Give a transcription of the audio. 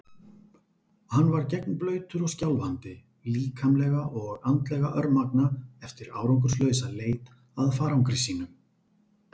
Hann var gegnblautur og skjálfandi, líkamlega og andlega örmagna eftir árangurslausa leit að farangri sínum.